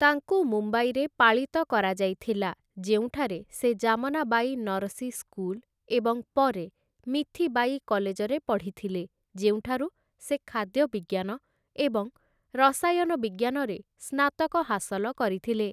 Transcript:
ତାଙ୍କୁ ମୁମ୍ବାଇରେ ପାଳିତ କରାଯାଇଥିଲା ଯେଉଁଠାରେ ସେ ଜାମନାବାଇ ନରସି ସ୍କୁଲ ଏବଂ ପରେ ମିଥିବାଇ କଲେଜରେ ପଢ଼ିଥିଲେ ଯେଉଁଠାରୁ ସେ ଖାଦ୍ୟ ବିଜ୍ଞାନ ଏବଂ ରସାୟନ ବିଜ୍ଞାନରେ ସ୍ନାତକ ହାସଲ କରିଥିଲେ ।